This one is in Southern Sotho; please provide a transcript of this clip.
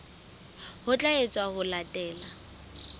ho tla etswa ho latela